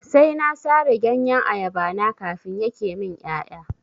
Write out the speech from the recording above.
Sai na sare ganyen ayaba na kafin yake min ƴaƴa.